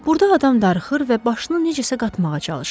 Burda adam darıxır və başını necəsə qatmağa çalışır.